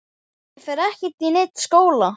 Ég fer ekkert í neinn skóla!